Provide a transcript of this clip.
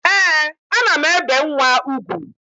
Ee, ana m ebe nwa ugwu